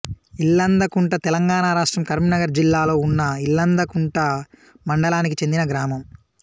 ఇల్లందకుంట తెలంగాణ రాష్ట్రం కరీంనగర్ జిల్లాలో ఉన్న ఇల్లందకుంట మండలానికి చెందిన గ్రామం